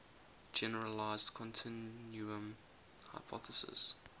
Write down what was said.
generalized continuum hypothesis